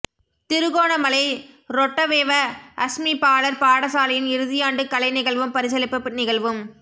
திருகோணமலை ரொட்டவெவ அஸ்மி பாலர் பாடசாலையின் இறுதியாண்டு கலை நிகழ்வும் பரிசளிப்பு நிகழ்வும்